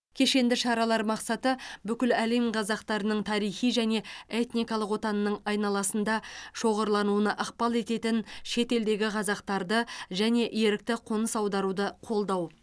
кешенді шаралар мақсаты бүкіл әлем қазақтарының тарихи және этникалық отанының айналасында шоғырлануына ықпал ететін шетелдегі қазақтарды және ерікті қоныс аударуды қолдау